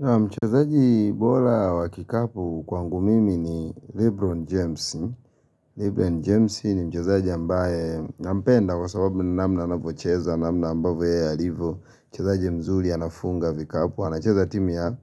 Mchezaji bora wa kikapu kwangu mimi ni Lebron James.Lebron James ni mchezaji ambaye nampenda kwa sababu ni namna anavocheza, namna ambavo yeye alivo Mchezaji mzuri anafunga vikapu anacheza timu ya